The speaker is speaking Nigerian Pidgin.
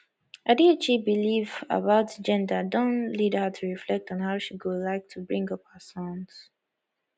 adichie belief about gender don lead her to reflect on how she go like to bring up her sons